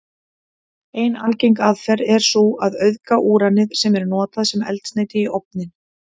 Ein algeng aðferð er sú að auðga úranið sem er notað sem eldsneyti í ofninn.